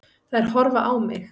Þær horfa á mig.